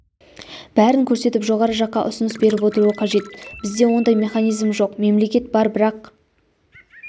бәрін көрсетіп жоғары жаққа ұсыныс беріп отыруы қажет бізде ондай механизм жоқ мемлекет бар бірақ